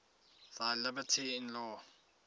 thy liberty in law